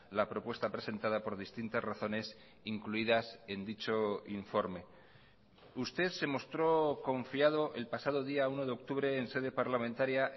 la propuesta presentada por distintas razones incluidas en dicho informe usted se mostró confiado el pasado día uno de octubre en sede parlamentaria